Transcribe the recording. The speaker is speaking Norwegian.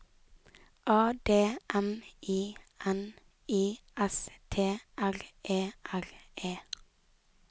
A D M I N I S T R E R E